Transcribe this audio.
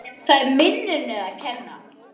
Það er minninu að kenna.